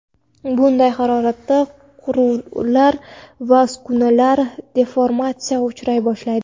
Bunday haroratda quvurlar va uskunalar deformatsiyaga uchray boshlaydi.